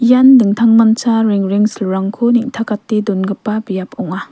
ian dingtangmancha rengrengsilrangko neng·takate dongipa biap ong·a.